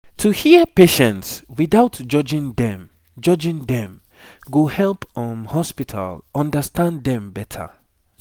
to hear patients without judging dem judging dem go help um hospital understand dem better